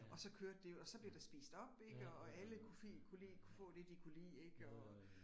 Og så kørte det jo og så blev der spist op ik og og alle kunne lide kunne lide kunne få det de kunne lide ik og